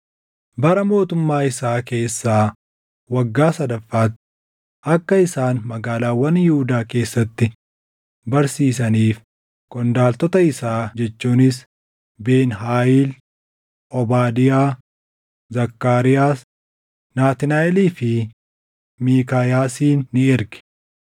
Bara mootummaa isaa keessaa waggaa sadaffaatti akka isaan magaalaawwan Yihuudaa keessatti barsiisaniif qondaaltota isaa jechuunis Ben-Haayil, Obaadiyaa, Zakkaariyaas, Naatnaaʼelii fi Miikaayaasin ni erge.